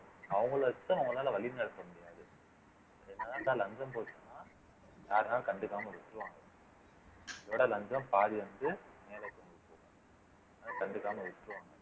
அவங்களை வச்சுதான் அவங்களால வழி நடத்த முடியாது யாருனாலும் கண்டுக்காம விட்டுருவாங்க இதோட லஞ்சம் பாதி கண்டுக்காம விட்டுறுவாங்க